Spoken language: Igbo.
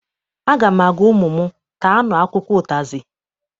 Aga m agwa ụmụ m, taanụ akwụkwọ ụtazị!